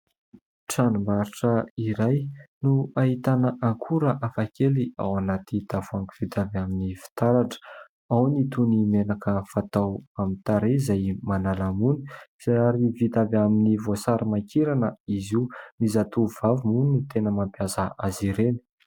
Tranom-barotra iray no ahitana akora hafakely ao anaty tavoahangy vita avy amin'ny fitaratra. Ao ny toy ny menaka fatao amin'ny tarehy izay manala mony ary vita avy amin'ny voasarimakirana izy io. Ny zatovovavy moa no tena mampiasa azy ireny.